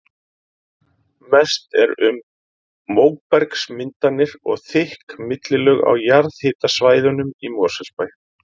Mest er um móbergsmyndanir og þykk millilög á jarðhitasvæðunum í Mosfellsbæ.